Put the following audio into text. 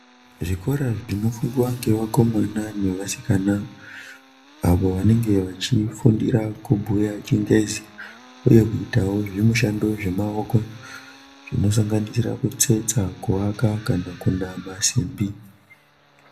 Zvikora zvinofundiswa ngeakomana ngeasikana avo vanonga vachifundira kubhuya chingezi uya kuitawo zvishandi zvemaoko dzinosanganisira kutsetsa kuwaka kana kunama simbi